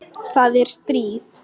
Það er stríð.